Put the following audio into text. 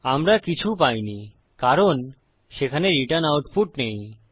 আমরা কিছু পাই নিকারণ সেখানে রিটার্ন আউটপুট নেই